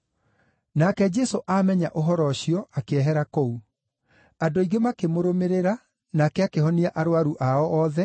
Nake Jesũ aamenya ũhoro ũcio, akĩehera kũu. Andũ aingĩ makĩmũrũmĩrĩra, nake akĩhonia arũaru ao othe,